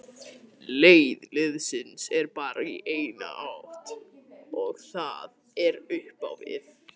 Leið liðsins er bara í eina átt og það er upp á við.